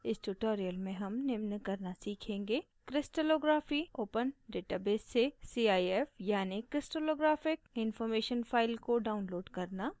इस tutorial में हम निम्न करना सीखेंगे crystallography open database से cif यानि crystallographic information file को download करना